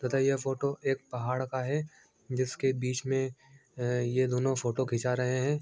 पता है ये फोटो एक पहाड़ का है जिसके बीच में य ये दोनों फोटो खींचा रहे हैं।